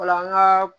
Ola an ka